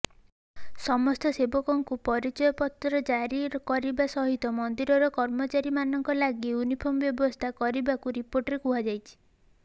ସମସ୍ତ ସେବକଙ୍କୁ ପରିଚୟପତ୍ର ଜାରି କରିବା ସହିତ ମନ୍ଦିରର କର୍ମଚାରୀମାନଙ୍କ ଲାଗି ୟୁନିଫର୍ମ ବ୍ୟବସ୍ଥା କରିବାକୁ ରିପୋର୍ଟରେ କୁହାଯାଇଛି